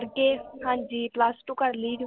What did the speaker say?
ਏ, ਹਾਂਜੀ plus two ਕਰਲੀ